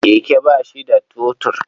Keke ba shi da totur.